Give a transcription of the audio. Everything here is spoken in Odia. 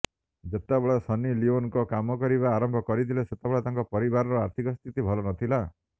ଯେତେବେଳେ ସନ୍ନି ଲିଓନ କାମ କରିବା ଆରମ୍ଭ କରିଥିଲେ ସେତେବେଳେ ତାଙ୍କ ପରିବାରର ଆର୍ଥିକ ସ୍ଥିତି ଭଲ ନଥିଲା